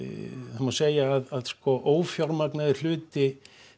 það má segja að ófjármagnaður hluti